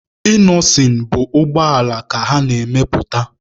Inọsịn bụ ụgbọala ka ọ na-arụpụta.